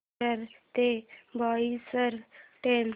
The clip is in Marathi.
विरार ते बोईसर ट्रेन